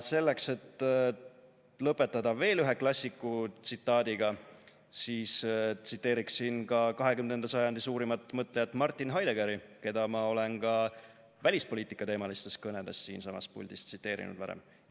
Selleks, et lõpetada veel ühe klassiku tsitaadiga, tsiteeriksin ka 20. sajandi suurimat mõtlejat Martin Heideggeri, keda ma varem olen ka oma välispoliitikateemalistes kõnedes siinsamas puldis tsiteerinud.